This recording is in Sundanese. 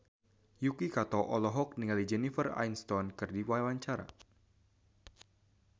Yuki Kato olohok ningali Jennifer Aniston keur diwawancara